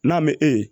N'a mɛ e ye